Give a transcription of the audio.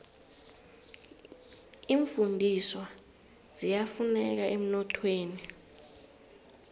iimfundiswa ziyafuneka emnothweni